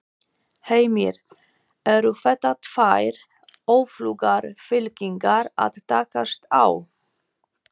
Heimir: Eru þetta tvær öflugar fylkingar að takast á?